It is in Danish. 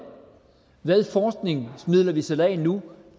hvad forskningsmidler vi sætter af nu